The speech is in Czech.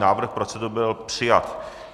Návrh procedury byl přijat.